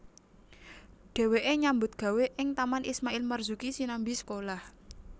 Dheweke nyambut gawé ing Taman Ismail Marzuki sinambi sekolah